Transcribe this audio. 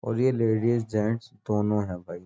और ये ladies gents दोनों हैं भाई ।